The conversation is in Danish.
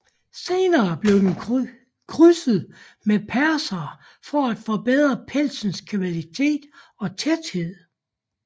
Senere blev den krydset med persere for at forbedre pelsens kvalitet og tæthed